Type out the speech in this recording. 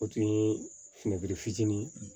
O tun ye fini fitini ye